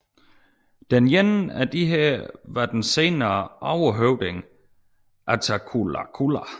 Den ene af disse var den senere overhøvding Attacullaculla